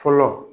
Fɔlɔ